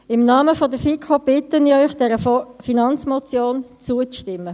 Im Namen der FiKo bitte ich Sie, dieser Finanzmotion zuzustimmen.